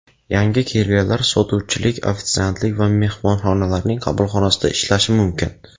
Yangi kelganlar sotuvchilik, ofitsiantlik va mehmonxonalarning qabulxonasida ishlashi mumkin.